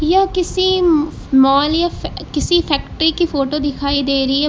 यह किसी मॉल या किसी फैक्ट्री की फोटो दिखाई दे रही है।